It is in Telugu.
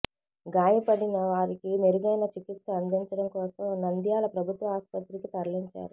గాయపడిన వారికి మెరుగైన చికిత్స అందిచండం కోసం నంద్యాల ప్రభుత్వ ఆస్పత్రికి తరలించారు